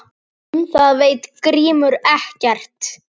Um það veit Grímur ekkert.